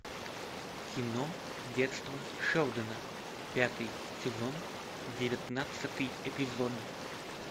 кино детство шелдона пятый сезон девятнадцатый эпизод